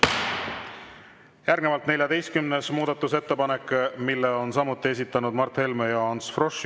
Järgnevalt 14. muudatusettepanek, mille on samuti esitanud Mart Helme ja Ants Frosch.